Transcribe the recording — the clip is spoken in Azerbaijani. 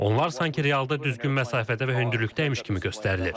Onlar sanki realda düzgün məsafədə və hündürlükdəymiş kimi göstərilir.